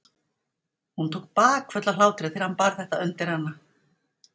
Hún tók bakföll af hlátri þegar hann bar þetta undir hana.